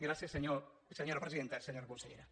gràcies senyora presidenta senyora consellera